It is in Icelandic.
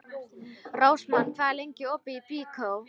Rósmann, hvað er lengi opið í Byko?